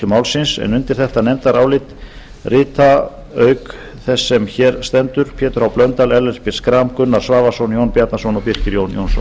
málsins undir þetta nefndarálit rita auk þess sem hér stendur pétur h blöndal ellert b schram gunnar svavarsson jón bjarnason og birkir jónsson